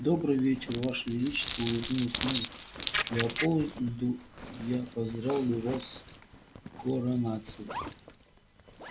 добрый вечер ваше величество улыбнулся мэр леопольду я поздравляю вас с коронацией